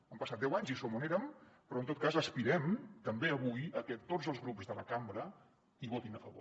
han passat deu anys i som on érem però en tot cas aspirem també avui a que tots els grups de la cambra hi votin a favor